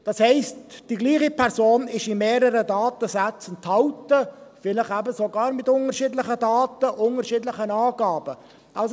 Das heisst: Die gleiche Person ist in mehreren Datensätzen enthalten, vielleicht eben sogar mit unterschiedlichen Daten, unterschiedlichen Angaben.